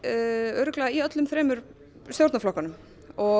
örugglega í öllum þremur stjórnarflokkunum og